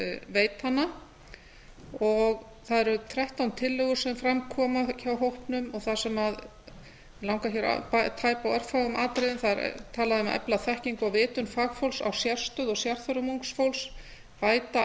veita hana og það eru þrettán tillögur sem fram koma hjá hópnum mig langar til að tæpa hér á örfáum atriðum það er talað um að efla þekkingu og vitund fagfólks á sérstöðu og sérþörfum ungs fólks bæta